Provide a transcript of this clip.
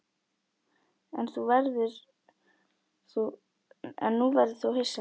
En nú verður þú hissa!